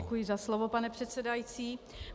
Děkuji za slovo, pane předsedající.